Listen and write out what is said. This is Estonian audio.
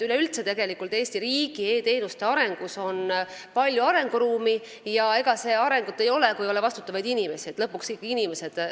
Üleüldse on Eesti riigi e-teenuste arengus palju arenguruumi, aga arengut ei toimu, kui ei ole vastutavaid inimesi – lõpuks ikka inimesed arendavad.